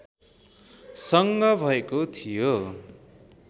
सँग भएको थियो